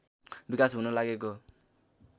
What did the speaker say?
विकास हुन लागेको